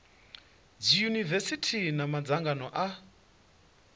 dzi yunivesithi na madzangano a